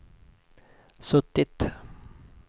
suttit